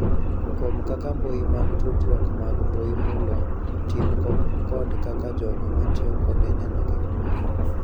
Kuom kaka mbui mag tudruok mag mbui mulo tim kod kaka jogo matiyo kode neno gik moko.